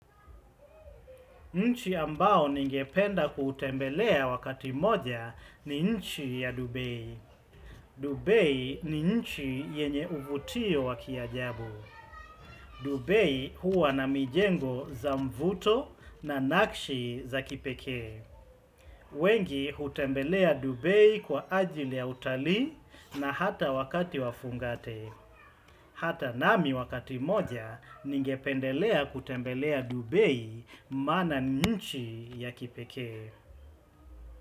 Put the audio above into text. Nchi ambao ningependa kutembelea wakati moja ni nchi ya Dubei. Dubei ni nchi yenye uvutio wa kiajabu. Dubei huwa na mijengo za mvuto na nakshi za kipekee. Wengi hutembelea Dubei kwa ajili ya utalii na hata wakati wa fungate. Hata nami wakati mmoja ningependelea kutembelea Dubei maana ni nchi ya kipekee.